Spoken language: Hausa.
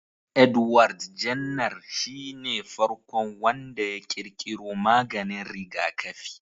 Edward Jenner shine farkon wanda ya ƙirƙiro maganin rigakafi.